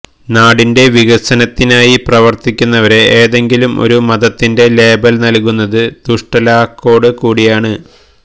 നാടിന്റെ വികസനത്തിനായി പ്രവര്ത്തിക്കുന്നവരെ ഏതെങ്കിലും ഒരു മതത്തിന്റെ ലേബല് നല്കുന്നത് ദുഷ്ടലാക്കോട് കൂടിയാണ്